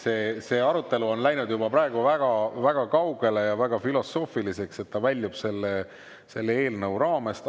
See arutelu on läinud juba väga kaugele ja väga filosoofiliseks ning väljub selle eelnõu raamest.